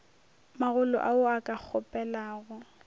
magolo ao a ka kgopelago